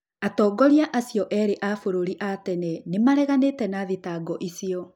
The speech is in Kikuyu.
Atongoria acio erĩ a bũrũri a tene nĩmareganĩte na thitango icio